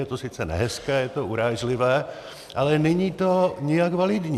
Je to sice nehezké, je to urážlivé, ale není to nijak validní.